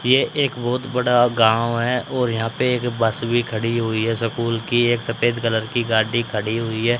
यह एक बहोत बड़ा गांव है और यहां पर एक बस भी खड़ी है स्कूल की एक सफेद कलर की गाड़ी खड़ी हुई है।